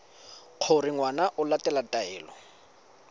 gore ngwana o latela taelo